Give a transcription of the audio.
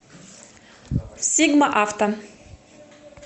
сигма авто